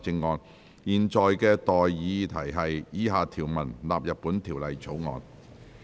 我現在向各位提出的待議議題是：以下條文納入本條例草案。